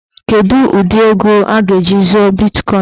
Kedụ ụdị ego a ga- eji zụọ bitkọin?